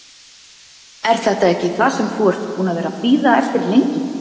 Er þetta ekki það sem þú ert búinn að vera að bíða eftir lengi?